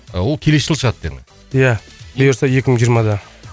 ол келесі жылы шығады дедің ия бұйырса екі мың жиырмада